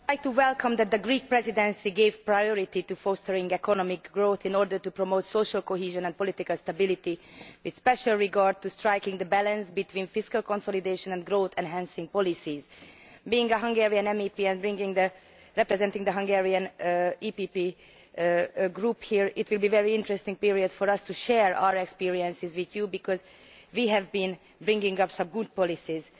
Madam President, I welcome the fact that the Greek Presidency has given priority to fostering economic growth in order to promote social cohesion and political stability, with special regard to striking a balance between fiscal consolidation and growth enhancing policies. Being a Hungarian MEP and representing the Hungarian PPE Group here, it will be a very interesting period for us to share our experiences with you, because we have been coming up with some good policies.